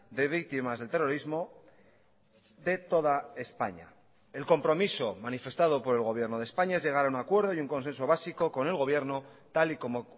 de víctimas del terrorismo de toda españa el compromiso manifestado por el gobierno de españa es llegar a un acuerdo y un consenso básico con el gobierno tal y como